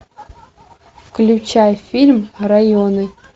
включай фильм районы